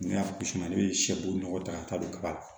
Ne y'a gosi ne bɛ sɛburu nɔgɔ ta ka taa don kaba la